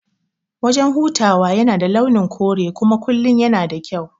Wajan hutawan yana da launin kure kuma kullum yana da kyau